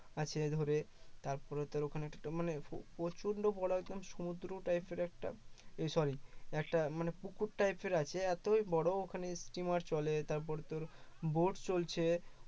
আছে ধরে তারপর তোর ওখানে মানে প্রচন্ড বড় রকম সমুদ্র type এর একটা sorry একটা মানে পুকুর type এর আছে এতই বড় ওখানে স্টিমার চলে তারপর তোর boat চলছে